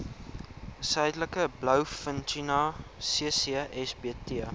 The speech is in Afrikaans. suidelike blouvintuna ccsbt